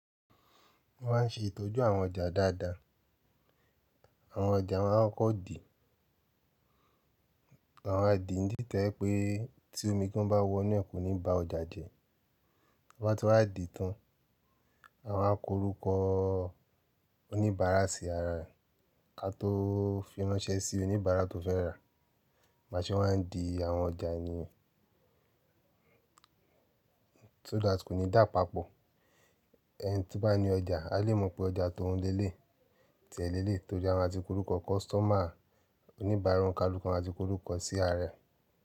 Wọ́n máa ń ṣe ìtọ́jú àwọn ọjà dáadáa. Àwọn ọjà máa ń kọ́ de. Wọn ma wa dìì ń dì to jẹ pé tí omi gán bá wọ inú ẹ̀ kò ní bá ọjà jẹ. Bi wọ́n ba ti wá diì tán. A máa ń korúkọ oníbàárà sí ara rẹ̀, ká tó fi ránṣẹ́ sí oníbàárà tó fẹ́ rà á. Bi a ṣe wá ń di àwọn ọjà yẹn, so that kò ní dà papọ̀. Ẹni tí bá ní ọjà a lè mọ̀ pé ọjà tó ouń lé lé yi, tiẹ̀ lé lé yi nitorí a máa ti kọ orúkọ kọ́sítọ́mà oníbàárà onikaluku wọn a máa ti korúkọ sí ara rẹ̀.